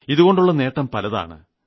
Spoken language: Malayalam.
ഇതുകൊണ്ടുള്ള നേട്ടം പലതാണ്